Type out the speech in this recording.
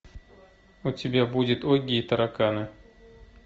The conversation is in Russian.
у тебя будет огги и тараканы